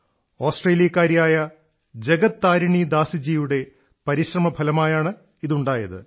ഓസ്ട്രേലിയക്കാരിയായ ജഗത് താരിണി ദാസിജിയുടെ പരിശ്രമഫലമായാണ് ഇതുണ്ടായത്